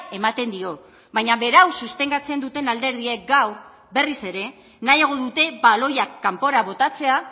ematen dio baina berau sostengatzen duten alderdiek gaur berriz ere nahiago dute baloiak kanpora botatzea